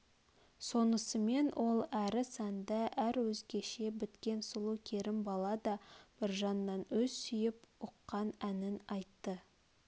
сонысымен ол әрі сәнді әр өзгеше біткен сұлу керімбала да біржаннан өз сүйіп ұққан әнін айтты